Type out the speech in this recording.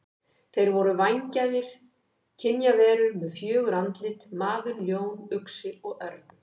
Þeir voru vængjaðar kynjaverur með fjögur andlit: maður, ljón, uxi og örn.